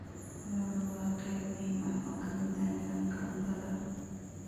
Lo'du waa qayb muhiim ah oo ka mid ah nidaamka cuntada.